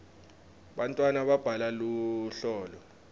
bantwana babhala luhlolo